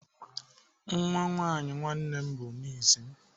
Nwa nwaanyị nwanne m bụ nis m.